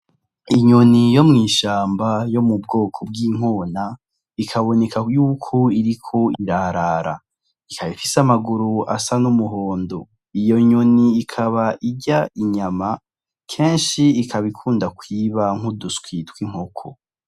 Inyoni yo mw'ishamba yo mubwoko bw'inkona bikaboneka yuko iriko irarara ikaba ifise amaguru asa n'umuhondo iyo nyoni ikaba irya inyama kenshi ikaba ikunda kwiba nk'uduswi tw'inkoko.